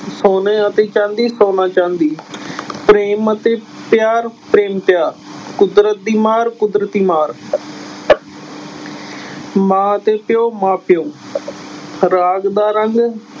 ਸੋਨੇ ਅਤੇ ਚਾਂਦੀ ਸੋਨਾ ਚਾਂਦੀ ਪ੍ਰੇਮ ਅਤੇ ਪਿਆਰ ਪ੍ਰੇਮ ਪਿਆਰ, ਕੁਦਰਤ ਦੀ ਮਾਰ ਕੁਦਰਤੀ ਮਾਰ ਮਾਂ ਅਤੇ ਪਿਓ ਮਾਂ ਪਿਓ ਰਾਗ ਦਾ ਰੰਗ